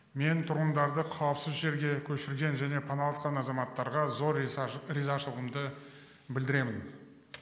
мен тұрғындарды қауіпсіз жерге көшірген және паналатқан азаматтарға зор ризашылығымды білдіремін